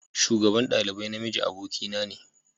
Shugaban dalibai na miji abokin na ne